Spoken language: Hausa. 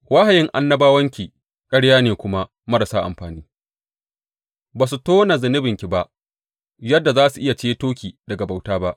Wahayin annabawanki ƙarya ne kuma marasa amfani; ba su tona zunubanki ba yadda za su iya ceto ki daga bauta ba.